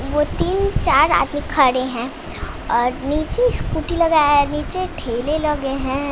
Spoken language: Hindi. वो तीन चार आगे खड़े हैं और नीचे स्कूटी लगाया है नीचे ठेले लगे हैं।